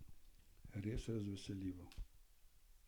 Res razveseljivo.